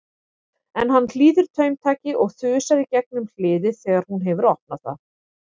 En hann hlýðir taumtaki og þusar í gegnum hliðið þegar hún hefur opnað það.